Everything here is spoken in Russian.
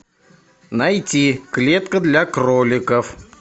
найти клетка для кроликов